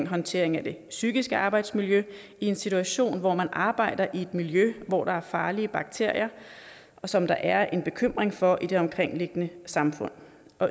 håndtering af det psykiske arbejdsmiljø i en situation hvor man arbejder i et miljø hvor der er farlige bakterier som der er en bekymring for i det omkringliggende samfund